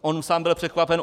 On sám byl překvapen.